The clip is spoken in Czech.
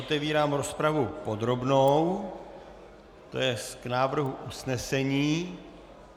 Otevírám rozpravu podrobnou, to jest k návrhu usnesení.